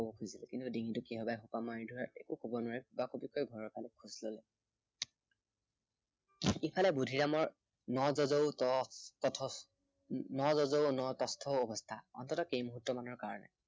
ডিঙিটো কিহবাই সোপা মাৰি ধৰাত একো কব নোৱাৰি কুবাকুবিকৈ ঘৰৰ ফালে খোজ ললে। ইফালে বুদ্ধিৰামৰ ন যযৌ ন তথচ, নযযৌ নতস্থৌ অৱস্থা, অন্ততঃ কেই মুহুৰ্তমানৰ কাৰনে।